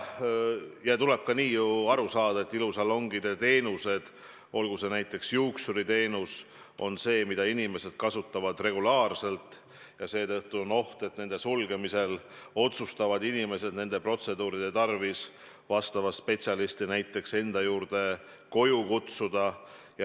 Tuleb ka aru saada, et ilusalongide teenused – olgu see näiteks juuksuriteenus – on teenused, mida inimesed kasutavad regulaarselt ja seetõttu on oht, et nende sulgemisel otsustavad inimesed nende protseduuride tarvis spetsialisti näiteks enda juurde koju kutsuda.